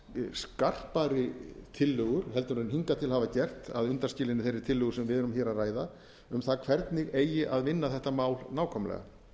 skarpari tillögur en hingað til hafa gert að undanskilinni þeirri tillögu sem við erum hér að ræða um það hvernig eigi að vinna þetta mál nákvæmlega